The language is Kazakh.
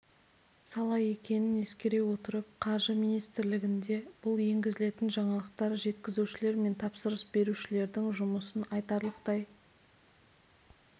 сала екенің ескере отырып қаржы министрлігінде бұл енгізілетін жаңалықтар жеткізушілер мен тапсырыс берушілердің жұмысын айтарлықтай